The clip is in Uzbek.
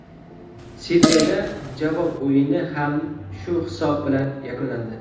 Sidneyda javob o‘yini ham shu hisob bilan yakunlandi.